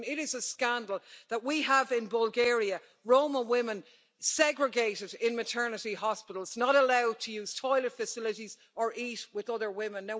I mean it is a scandal that we have, in Bulgaria, Roma women segregated in maternity hospitals, not allowed to use toilet facilities or to eat with other women.